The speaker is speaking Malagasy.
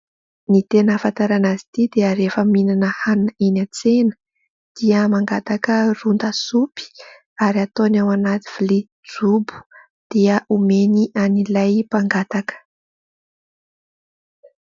Ny tena ahafantarana azy ity dia rehefa mihinana hanina eny an-tsena dia mangataka ron-da sopy ary ataony ao anaty vilia jobo dia omeny an'ilay mpangataka.